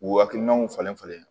U hakilinaw falen falen